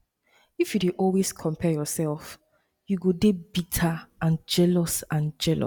if you dey always compare yourself you go dey bitter and jealous and jealous